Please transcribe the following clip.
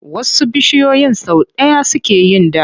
Wasu bishiyoyin sau ɗaya suke yin ɗa.